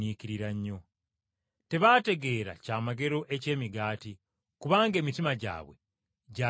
Tebategeera kyamagero eky’emigaati kubanga emitima gyabwe gyali mikakanyavu.